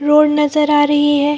Road नजर आ रही है।